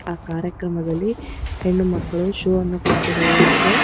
ಆ ಕಾರ್ಯಕ್ರಮದಲ್ಲಿ ಹೆಣ್ಣು ಮಕ್ಕಳು ಶೋ ಅನ್ನು ಕೊಟ್ಟಿರುವ ಹಾಗಿದೆ.